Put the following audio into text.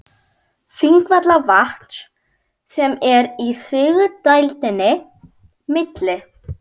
Þingvallavatns sem er í sigdældinni milli